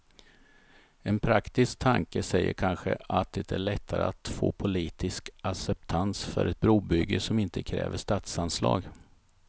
En praktisk tanke säger kanske att det är lättare att få politisk acceptans för ett brobygge som inte kräver statsanslag.